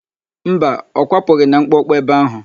Mba, ọ kwapụghị na mkpọkpọ ebe áhụ̀.